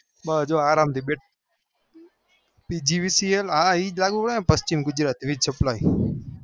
બસ આરામથી બેઠા પન્ચીમ ગુજરાત supply